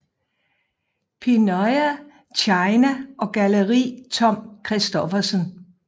Pinyao China og Galleri Tom Christoffersen